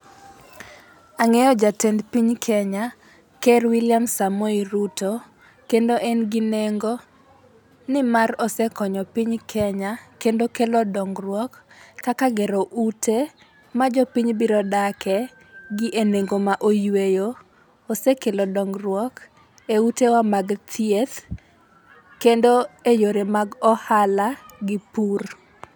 Ang'eyo jatend piny Kenya, ker William Samoei Ruto, kendo en gi nengo ni mar osekonyo piny Kenya kendo kelo dongruok kaka gero ute ma jopiny biro dake gi e nengo ma oyueyo. Osekelo dongruok, e utewa mag thieth kendo e yore mag ohala gi pur.